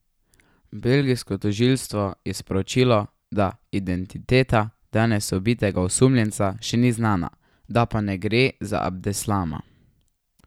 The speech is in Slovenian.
Belgijsko tožilstvo je sporočilo, da identiteta danes ubitega osumljenca še ni znana, da pa ne gre za Abdeslama.